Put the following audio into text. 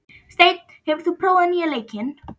Steinn, hefur þú prófað nýja leikinn?